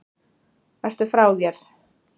Ertu frá þér??